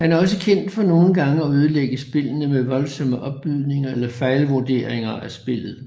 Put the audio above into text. Han er også kendt for nogle gange at ødelægge spillene med voldsomme opbydninger eller fejlvuderinger af spillet